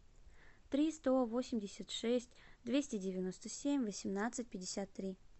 три сто восемьдесят шесть двести девяносто семь восемнадцать пятьдесят три